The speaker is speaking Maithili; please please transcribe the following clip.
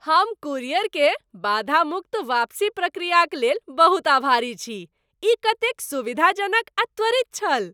हम कुरियरकेँ बाधा मुक्त वापसी प्रक्रियाक लेल बहुत आभारी छी, ई कतेक सुविधाजनक आ त्वरित छल।